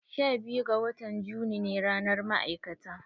Sha biyu ga watan juni ne ranar ma'aikata.